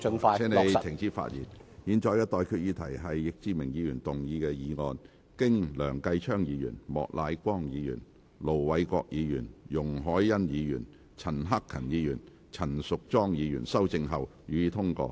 我現在向各位提出的待決議題是：易志明議員動議的議案，經梁繼昌議員、莫乃光議員、盧偉國議員、容海恩議員、陳克勤議員及陳淑莊議員修正後，予以通過。